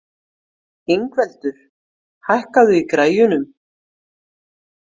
Ingveldur, hækkaðu í græjunum.